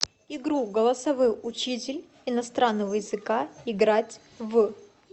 игру голосовой учитель иностранного языка играть в